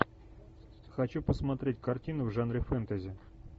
хочу посмотреть картину в жанре фэнтези